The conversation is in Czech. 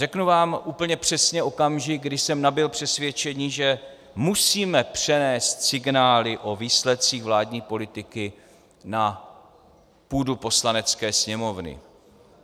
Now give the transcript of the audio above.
Řeknu vám úplně přesně okamžik, kdy jsem nabyl přesvědčení, že musíme přenést signály o výsledcích vládní politiky na půdu Poslanecké sněmovny.